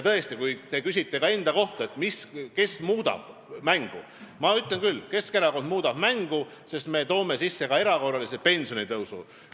Tõesti, kui te küsite ka enda kohta, et kes muudab mängu, siis ma ütlen küll, et Keskerakond muudab mängu, sest me toome sisse ka erakorralise pensionitõusu.